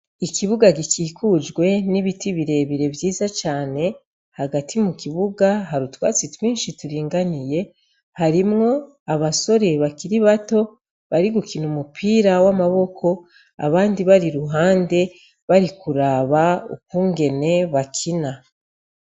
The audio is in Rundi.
Ikibuga gikikujwe n' ibiti bire bire vyiza cane hagati mukibuga hari utwatsi twinshi turinganiye harimwo abasore bakiri bato bari gukina umupira w' amaboko abandi bari iruhande bari kuraba ukungene bakina.